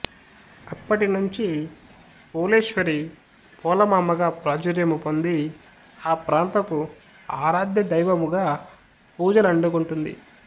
అప్పటినుండి పోలేశ్వరి పోలమాంబగ ప్రాచుర్యము పొంది ఈ ప్రాంతపు ఆరాధ్య దైవముగా పూజలందుకొంటుంది